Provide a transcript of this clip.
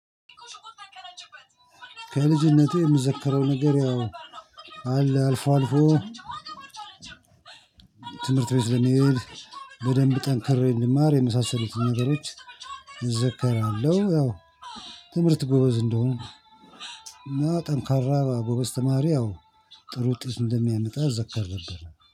ከልጅነቴ የምዘከረው ነገር ያው አለ አልፎ አልፎ ትምህርት ቤት ለመሄድ በደንብ ጠንክሬ እንድማር የመሳሰሉትን ነገሮች እዘከራለሁ። ያው ትምህርት ጎበዝ እንደሆነ እና ጠንካራ ጎበዝ ተማሪ ያው ጥሩ ውጤት እንደሚያመጣ ይዘከር ነበር